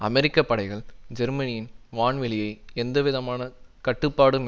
அமெரிக்க படைகள் ஜெர்மனியின் வான்வெளியை எந்த விதமான கட்டுப்பாடும்